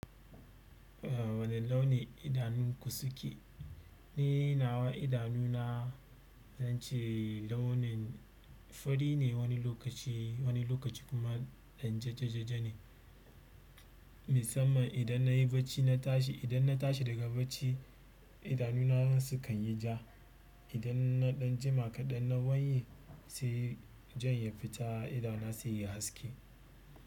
Eh wane launin idanunku suke? Ni nawa idanu na zance launin fari ne wani lokaci, wani lokaci kuma ɗan jajjajaja ne. Misaman idan nayi bacci na tashi, idan na tashi daga bacci idanu na sukan yi ja. Idan na ɗan jima kaɗan na wanye sai jan ya fita idona seyayi haske.